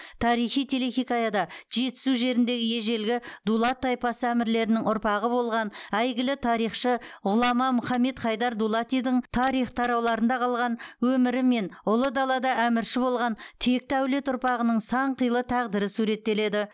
тарихи телехикаяда жетісу жеріндегі ежелгі дулат тайпасы әмірлерінің ұрпағы болған әйгілі тарихшы ғұлама мұхаммед хайдар дулатидың тарих тарауларында қалған өмірі мен ұлы далада әмірші болған текті әулет ұрпағының сан қилы тағдыры суреттеледі